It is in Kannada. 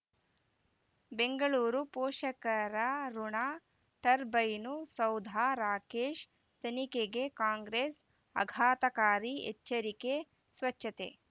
ಬೆಂಗಳೂರು ಪೋಷಕರಋಣ ಟರ್ಬೈನು ಸೌಧ ರಾಕೇಶ್ ತನಿಖೆಗೆ ಕಾಂಗ್ರೆಸ್ ಆಘತಕಾರಿ ಎಚ್ಚರಿಕೆ ಸ್ವಚ್ಛತೆ